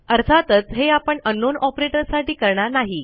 अर्थातच हे आपणunknown ऑपरेटर साठी करणार नाही